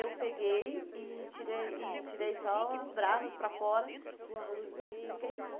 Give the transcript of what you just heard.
Eu peguei e tirei e tirei só as brasas para fora para o arroz não não queimar.